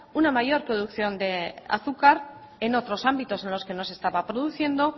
una mayor producción de azúcar en otros ámbitos en los que no se estaba produciendo